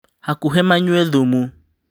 Hakũhĩ manyue thumu